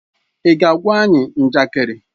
Ị ga-agwa anyị njakịrị?